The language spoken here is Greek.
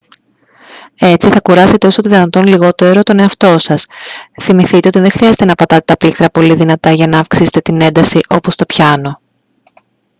έτσι θα κουράσετε όσο το δυνατόν λιγότερο τον εαυτό σας θυμηθείτε ότι δεν χρειάζεται να πατάτε τα πλήκτρα πολύ δυνατά για να αυξήσετε την ένταση όπως στο πιάνο